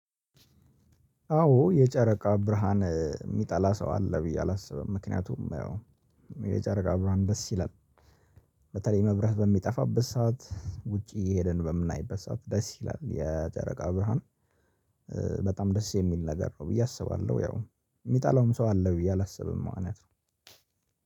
አዎ የጨረቃ ብርሃን የሚጠላ ሰው አለ ብዬ አላስብም። ምክንያቱም የጨረቃ ብርሃን ደስ ይላል። በተለይ መብረህ በሚጠፋበት ሰዓት ውጪ የሄድን በምናይበት ሰዓት ደስ ይላል የጨረቃ ብርሃን። በጣም ደስ የሚል ነገር ነው ብዬ አስባለሁ። ያው የሚጠላውም ሰው አለ ብዬ አላስብም ማለት ነው።